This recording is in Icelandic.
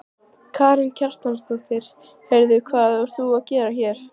Karen Kjartansdóttir: Heyrðu hvað ert þú að gera hér?